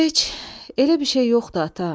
Heç, elə bir şey yoxdur ata.